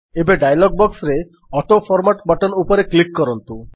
ଏବେ ଡାୟଲଗ୍ ବକ୍ସରେ autoformat button ଉପରେ କ୍ଲିକ୍ କରନ୍ତୁ